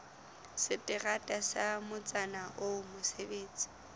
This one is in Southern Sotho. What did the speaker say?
seterata sa motsana oo mosebetsi